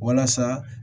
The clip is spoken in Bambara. Walasa